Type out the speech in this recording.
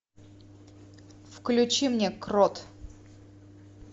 включи мне крот